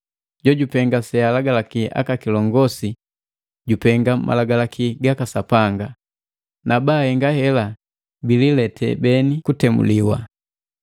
Jojupenga sealagalaki aka kilongosi jupenga malagalaki gaka Sapanga, na baahenga hela bililete beni kutemuliwa.